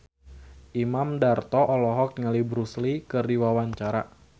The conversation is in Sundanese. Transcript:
Imam Darto olohok ningali Bruce Lee keur diwawancara